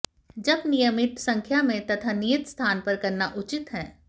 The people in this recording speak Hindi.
जप नियमित संख्या में तथा नियत स्थान पर करना उचित है